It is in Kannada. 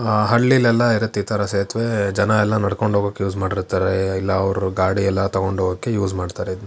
ಆ ಹಳ್ಳಿಲೆಲ್ಲ ಇರುತ್ತೆ ಈ ತರ ಸೇತುವೆ ಜನ ಎಲ್ಲ ನಡ್ಕೊಂಡು ಹೋಗೋಕೆ ಯೂಸ್ ಮಾಡ್ತಾರೆ ಇಲ್ಲ ಅವರು ಗಾಡಿ ಎಲ್ಲ ತಗೊಂಡು ಹೋಗೋಕೆ ಯೂಸ್ ಮಾಡ್ತಾರೆ ಇದನ್ನ.